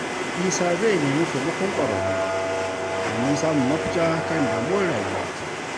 Isa zai nemi taimakon ƙwararru domin samun mafita kan damuwar rayuwa.